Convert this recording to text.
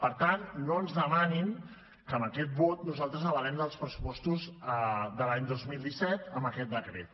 per tant no ens demanin que amb aquest vot nosaltres avalem els pressupostos de l’any dos mil disset amb aquest decret